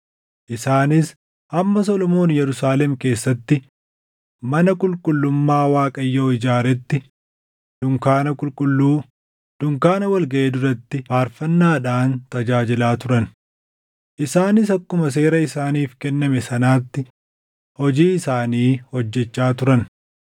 Isaanis hamma Solomoon Yerusaalem keessatti mana qulqullummaa Waaqayyoo ijaaretti dunkaana qulqulluu, dunkaana wal gaʼii duratti faarfannaadhaan tajaajilaa turan. Isaanis akkuma seera isaaniif kenname sanaatti hojii isaanii hojjechaa turan.